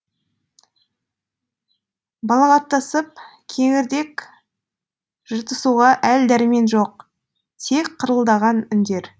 балағаттасып кеңірдек жыртысуға әл дәрмен жоқ тек қырылдаған үндер